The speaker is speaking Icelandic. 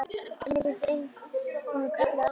En mér fannst einsog hann kallaði á mig.